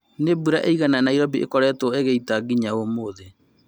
Nĩ mbura ĩigana Nairobi ĩkoretwo ĩgĩita nginya ũmũthĩ?